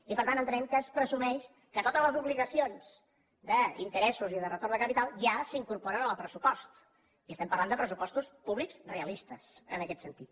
i per tant entenem que es presumeix que totes les obligacions d’interessos i de retorn de capital ja s’incorporen en el pressupost i estem parlant de pressupostos públics realistes en aquest sentit